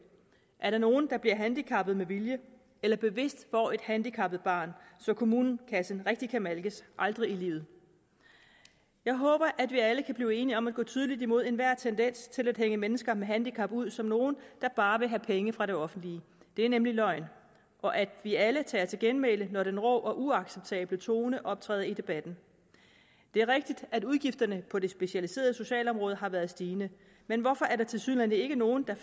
er der nogen der bliver handicappet med vilje eller bevidst får et handicappet barn så kommunekassen rigtig kan malkes aldrig i livet jeg håber at vi alle kan blive enige om at gå tydeligt imod enhver tendens til at hænge mennesker med handicap ud som nogle der bare vil have penge fra det offentlige det er nemlig løgn og at vi alle tager til genmæle når den rå og uacceptable tone optræder i debatten det er rigtigt at udgifterne på det specialiserede socialområde har været stigende men hvorfor er der tilsyneladende ikke nogen der